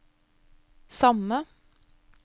samme